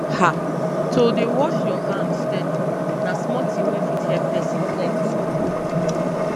ha to dey wash your hand steady na small thing wey fit help person plenty